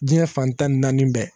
Diɲɛ fan tan ni naani bɛɛ